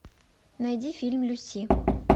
найди фильм люси